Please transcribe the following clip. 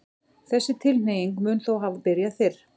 þessi tilhneiging mun þó hafa byrjað fyrr